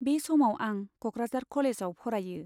बे समाव आं क'कराझार कलेजाव फरायो।